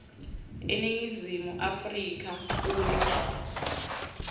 eningizimu afrika uma